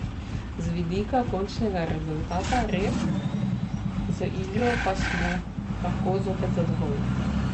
Z vidika končnega rezultata res, z igro pa smo lahko zopet zadovoljni.